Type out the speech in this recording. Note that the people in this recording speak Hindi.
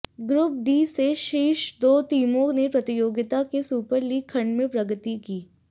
ग्रुप डी से शीर्ष दो टीमों ने प्रतियोगिता के सुपर लीग खंड में प्रगति की